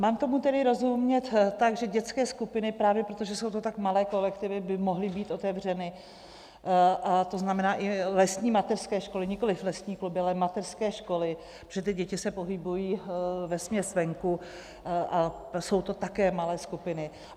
Mám tomu tedy rozumět tak, že dětské skupiny právě proto, že jsou to tak malé kolektivy, by mohly být otevřeny, a to znamená i lesní mateřské školy, nikoliv lesní kluby, ale mateřské školy, protože ty děti se pohybují vesměs venku a jsou to také malé skupiny?